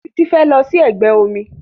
Títí fẹ́ lọ sí ẹgbẹ́ omi